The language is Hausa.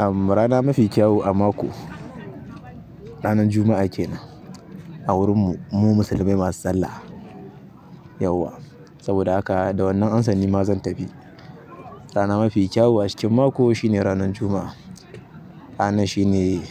Uhm, rana mafi kyawu a mako ranan Juma'a kenan. A wurin mu. Mu musulmai masu sallah yauwa. Saboda haka da wannan ansan nima zan tafi. Rana mafi kyau a cikin mako shine ranan Juma'a. Ranar shine